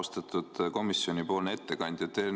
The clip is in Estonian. Austatud komisjoni ettekandja!